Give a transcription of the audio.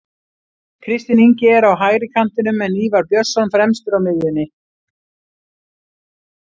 Kristinn Ingi er á hægri kantinum en Ívar Björnsson fremstur á miðjunni.